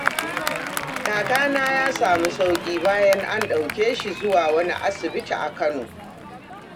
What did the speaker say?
Kakana ya samu sauƙi bayan an ɗauke shi zuwa wani asibiti a Kano.